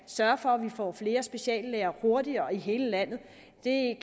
sørge for at vi får flere speciallæger hurtigere i hele landet